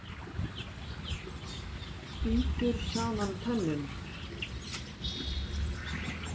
Bítur saman tönnunum.